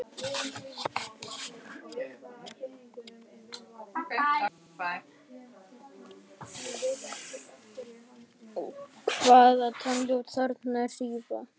Hvaða tilgangi þjóna fallhlífar í þyngdarleysi eins og þegar lent er á Mars?